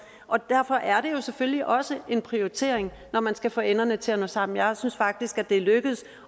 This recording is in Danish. og derfor er det jo selvfølgelig også en prioritering når man skal få enderne til at nå sammen jeg synes faktisk at det er lykkedes